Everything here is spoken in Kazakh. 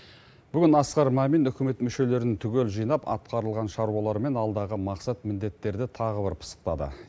бүгін асқар мамин үкімет мүшелерін түгел жинап атқарылған шаруалар мен алдағы мақсат міндеттерді тағы бір пысықтады